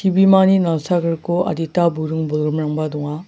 ibimani nalsagriko adita buring-bolgrimrangba donga.